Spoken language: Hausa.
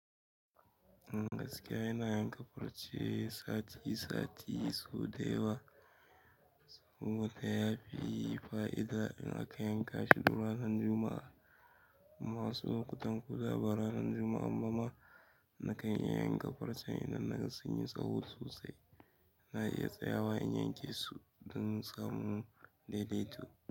In gaskiya ina yanka farcen sati sati so dayawa saboda ya fi fa'ida in aka yanka shi ko ranan Juma'a. Masu kutan ku ko ba ranan Juma'a ba ma na kan iya yanka farce idan na sun yi tsaho sosai. Na iya tsayawa in yanke su don samu daidaito.